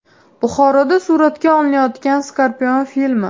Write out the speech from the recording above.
Buxoroda suratga olinayotgan Scorpion filmi.